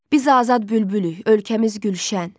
Biz azad bülbülük, ölkəmiz Gülşən.